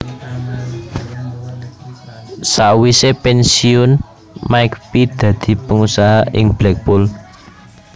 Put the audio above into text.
Sawisé pènsiyun McPhee dadi pangusaha ing Blackpool